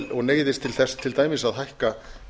og neyðist til þess til dæmis að hækka